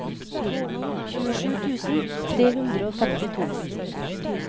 tjuesju tusen tre hundre og femtito